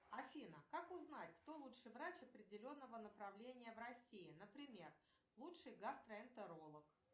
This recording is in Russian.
афина как узнать кто лучший врач определенного направления в россии например лучший гастроэнтеролог